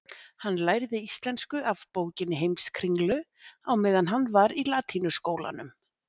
Hann lærði íslensku af bókinni Heimskringlu á meðan hann var í latínuskólanum.